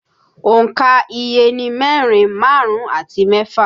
Òǹkà iye ni mẹ́rin, márùn-ún àti mẹ́fà